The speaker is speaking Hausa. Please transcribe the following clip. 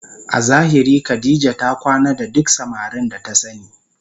A zahiri Khadijah ta kwana da duk samarin da ta sani